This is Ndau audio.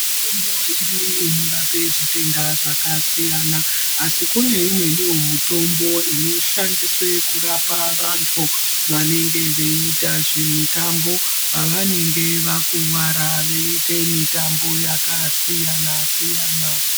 Mitombo iriyo inorape zvitenda zvakasiyana, asi kune imweniwo mutombo inoshandiswe kurapa vantu vanenge veiita zvemitambo pavanenge vakuwara, veiite mitambo yakasiyana-siyana.